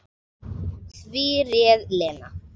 Því réð Lena.